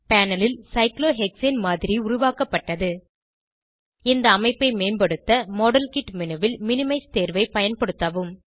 panel ல் cyclohexane மாதிரி உருவாக்கப்பட்டது இந்த அமைப்பை மேம்படுத்த மாடல்கிட் மேனு ல் மினிமைஸ் தேர்வை பயன்படுத்தவும்